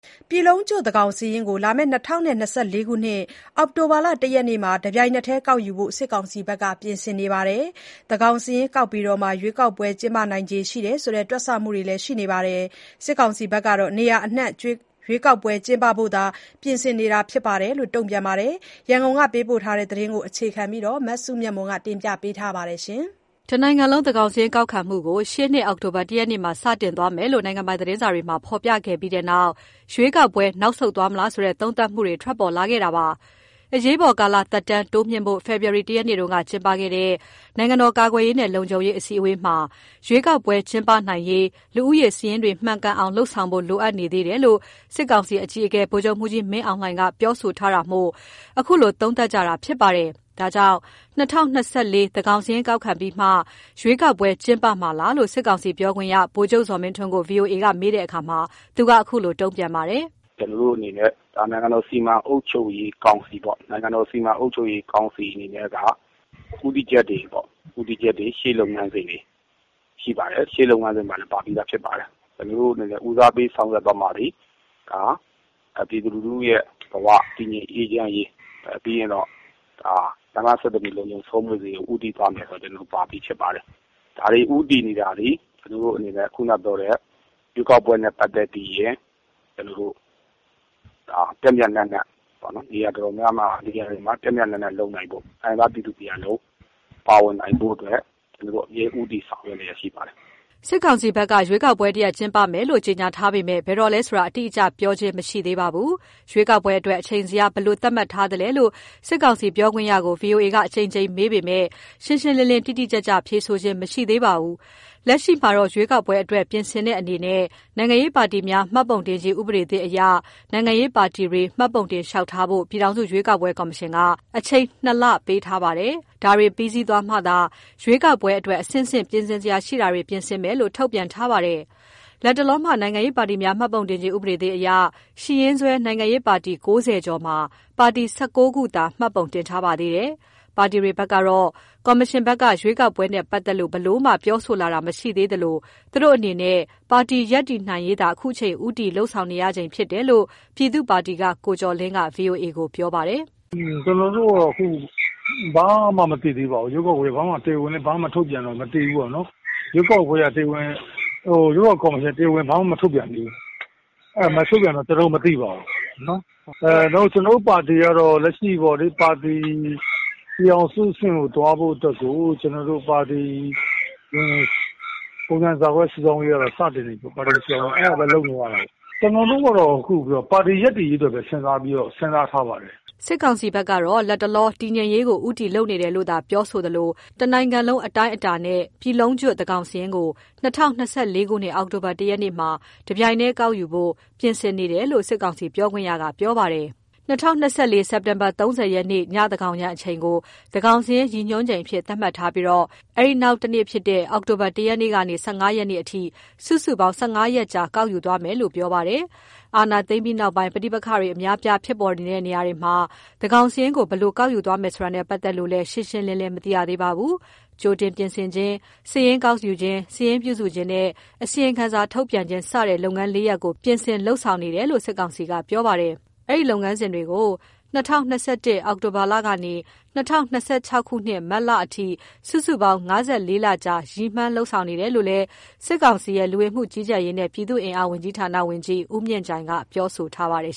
ပြည်လုံးကျွတ်သန်းခေါင်စာရင်းကို ၂၀၂၄ ခုနှစ် အောက်တိုဘာ ၁ ရက်နေ့မှာ တပြိုင်တည်းကောက်ယူဖို့ စစ်ကောင်စီဘက်က ပြင်ဆင်နေပါတယ်။ သန်းခေါင်စာရင်းကောက်ပြီးမှ ရွေးကောက်ပွဲကျင်းပနိုင်တယ်ဆိုတဲ့ တွက်ဆမှုတွေလည်းရှိနေပါတယ်။ စစ်ကောင်စီကဘက်ကတော့ နေရာအနှံ့ရွေးကောက်ပွဲကျင်းပဖို့သာ ပြင်ဆင်နေတယ်လို့ တုံ့ပြန်ပါတယ်။ ရန်ကုန်ကပေးပို့လာတဲ့သတင်းကို အခြေခံပြီး မစုမြတ်မွန်က ပြောပြမှာပါ။ တနိုင်ငံလုံး သန်းခေါင်းစာရင်းကောက်ခံမှုကို ရှေ့နှစ် အောက်တိုဘာ ၁ ရက်မှာ စတင်ကောက်ခံသွားမယ်လို့ နိုင်ငံပိုင်းသတင်းစာတွေမှာ ဖော်ပြခဲ့ပြီးနောက် ရွေးကောက်ပွဲ နောက်ဆုတ်သွားမလားဆိုတဲ့ သုံးသပ်မှုတွေ ထွက်ပေါ်လာခဲ့တာပါ။ အရေးပေါ်ကာလသက်တမ်း တိုးမြှင့်ဖို့ ဖေဖော်ဝါရီ ၁ ရက်နေ့က ကျင်းပခဲ့တဲ့ နိုင်ငံတော်ကာကွယ်ရေးနဲ့ လုံခြုံရေး အစည်းအဝေးမှာ ရွေးကောက်ပွဲကျင်းပနိုင်ရေး လူဦးရေစာရင်းတွေ မှန်ကန်အောင် လုပ်ဆောင်ဖို့ လိုအပ်နေသေးတယ်လို့ စစ်ကောင်စီအကြီးအကဲ ဗိုလ်ချုပ်မှူးကြီးမင်းအောင်လှိုင်က ပြောဆိုခဲ့တာမို့ အခုလို သုံးသပ်ကြတာဖြစ်ပါတယ်။ ဒါကြောင့် ၂၀၂၄ သန်းခေါင်စာရင်းကောက်ပြီးမှ ရွေးကောက်ပွဲကျင်းပမှာလားလို့ စစ်ကောင်စီပြောခွင့်ရ ဗိုလ်ချုပ် ဇော်မင်းထွန်းကို ဗွီအိုအေက မေးတဲ့အခါ သူက အခုလို တုန့်ပြန် ပါတယ်။ “ကျနော်တို့အနေနဲ့ နိုင်ငံတော်စီမံအုပ်ချုပ်ရေးကောင်စီအနေနဲ့က ဦးတည်ချက်တွေ ရှေ့လုပ်ငန်းစဉ်တွေ ရှိပါတယ်။ ရှေ့လုပ်ငန်းစဉ်တွေမှာ ပါပြီးသား ဖြစ်ပါတယ်။ ကျနော်တို့အနေနဲ့ ဦးတည်ဆောင်ရွက်တာသည် ပြည်သူလူထုဘဝ တည်ငြိမ်အေးချမ်းရေး၊ ပြီးရင် လမ်းပန်းဆက်သွယ်ရေး ဦးတည်မယ်ဆိုတာ ပါပြီးဖြစ်ပါတယ်။ ဒါတွေ ဦးတည်နေတာသည် ခုနပြောတဲ့ ရွေးကောက်ပွဲကိုနေရာ တော်တော်များများမှာ ပျံ့ပျံ့နှံ့နှံလုပ်နိုင်ဖို့ တိုင်းရင်းသားပြည်သူတရပ်လုံး ပါဝင်နိုင်ဖို့ အမြဲဦးတည်ဆောင် ရွက်လျက်ရှိပါတယ်။” စစ်ကောင်စီဘက်က ရွေးကောက်ပွဲတစ်ရပ်ပြုလုပ်မယ်လို့ ကြေညာထားပေမဲ့ ဘယ်တော့လဲဆိုတာ အတိအကျပြောခြင်း မရှိသေးပါဘူး ရွေးကောက်ပွဲအတွက် အချိန်ဇယား ဘယ်လိုသတ်မှတ်ထားသလဲလို့ စစ်ကောင်စီ ပြောခွင့်ရကို ဗွီအိုအေက အကြိမ်ကြိမ် မေးပေမယ့် ရှင်းရှင်းလင်း လင်းပြန်ဖြေတာ မရှိခဲ့ပါဘူး။ လက်ရှိမှာတော့ ရွေးကောက်ပွဲအတွက် ပြင်ဆင်တဲ့အနေနဲ့ နိုင်ငံရေးပါတီများ မှတ်ပုံတင်ခြင်းဥပဒေသစ်အရ နိုင်ငံရေးပါတီတွေ မှတ်ပုံတင်လျှောက်ထားဖို့ ပြည်ထောင်စု ရွေးကောက်ပွဲကော်မရှင်က အချိန် ၂ လ ပေးထားပါတယ်။ ဒါတွေပြီးစီးသွားမှသာ ရွေးကောက်ပွဲအတွက် အဆင့်ဆင့် ပြင်ဆင်စရာရှိတာတွေ ပြင်ဆင်မယ်လို့ ထုတ်ပြန်ထားပါတယ်။ လတ်တလောမှာ နိုင်ငံရေးပါတီများ မှတ်ပုံတင်ခြင်းဥပဒေသစ်အရ ရှိရင်းစွဲ နိုင်ငံရေးပါတီ ၉၀ ကျော်မှာ ပါတီ ၁၉ ခုသာ မှတ်ပုံတင်ထားပါသေးတယ်။ ပါတီတွေဘက်ကတော့ ကော်မရှင်ဘက်က ရွေးကောက်ပွဲနဲ့ပတ်သတ်လို့ ဘယ်လိုမှ ပြောဆိုလာတာ မရှိသေးသလို သူတို့အနေနဲ့ ပါတီရပ်တည်နိုင်ရေးသာ အခုချိန် ဦးတည်လုပ်ဆောင်နေရ ချိန်သာဖြစ်နေတယ်လို့ ပြည်သူ့ပါတီက ကိုကျော်လင်းက ဗွီအိုအေကို ပြောပါတယ်။ “ကျနော်တို့ အခုဘာမှ မသိသေးပါဘူး။ တရားဝင်လဲ ဘာမှမထုတ်ပြန်တော့ မသိဘူး။ ရွေးကောက်ပွဲနဲ့ပတ်သတ်လို့လည်း ကော်မရှင်ဘက်က ဘာမှမထုတ်ပြန်သေးဘူး။ တရားဝင်မပြောတော့ မသိပါဘူး။ ကျနော်တို့ပါတီဘက်ကတော့ ပြည်ထောင်စုအဆင့် သွားနိုင်ဖို့ ပုံစံ (ဇ) စုဆောင်းရေး လုပ်နေရတာပေါ့လေ။ ကျနော်တို့ကတော့ ခုပါတီရပ်တည်နိုင်ရေးအတွက်ဘဲ စဉ်းစားလုပ်နေပါတယ်။” စစ်ကောင်စီဘက်ကတော့ လတ်တလော တည်ငြိမ်ရေးကို ဦးတည်လုပ်နေတယ်လို့သာ ပြောဆိုသလို တစ်နိုင်ငံလုံးအတိုင်းအတာနဲ့ ပြည်လုံးကျွတ် သန်းခေါင်စာရင်းကို ၂၀၂၄ ခုနှစ် အောက်တိုဘာ ၁ ရက်နေ့မှာ တပြိုင်တည်းကောက်ယူဖို့ စစ်ကောင်စီဘက်က ပြင်ဆင်နေတယ်လို့ စစ်ကောင်စီပြောခွင့်ရက ပြောပါတယ်။ ၂၀၂၄ ခုနှစ် စက်တင်ဘာလ ၃၀ ရက်နေ့ ညသန်း ခေါင်ယံအချိန်ကို သန်းခေါင်စာရင်း ရည်ညွှန်းချိန်အဖြစ် သတ်မှတ်ထားပြီး အဲဒီနောက်တစ်နေ့ အောက်တိုဘာလ ၁ရက်နေ့ကနေ ၁၅ ရက်နေ့အထိ စုစုပေါင်း ၁၅ ရက်ကြာ ကောက်ယူသွားမယ်လို့ ပြောပါတယ်။ အာဏာသိမ်းပြီးနောက်ပိုင်း ပဋိပက္ခတွေအများအပြား ဖြစ်ပေါ်နေတဲ့ နေရာတွေမှာ သန်းခေါင်းစာရင်းကို ဘယ်လို ကောက်ယူသွားမယ်ဆိုတာနဲ့ ပတ်သက်လို့လည်း ရှင်းရှင်းလင်းလင်း မသိရသေးပါဘူး။ ကြိုတင်ပြင်ဆင်ခြင်း၊ စာရင်းကောက်ယူခြင်း၊ စာရင်းပြုစုခြင်းနဲ့ အစီရင်ခံစာထုတ်ပြန်ခြင်း စတဲ့ လုပ်ငန်း ၄ ရပ်ကို ပြင်ဆင် လုပ်ဆောင်နေတယ်လို့ စစ်ကောင်စီက ပြောပါတယ်။ အဲဒီလုပ်ငန်းစဉ်တွေကို ၂၀၂၁ ခုနှစ် အောက်တိုဘာလ ကနေ ၂၀၂၆ ခုနှစ် မတ်လအထိ စုစုပေါင်း ၅၄ လကြာ ရည်မှန်းလုပ်ဆောင်နေတယ်လို့လည်း စစ်ကောင်စီရဲ့ လူဝင်မှုကြီးကြပ်ရေးနဲ့ ပြည်သူ့အင်အားဝန်ကြီးဌာန ဝန်ကြီး ဦးမြင့်ကြိုင်က ပြောဆိုထားပါတယ်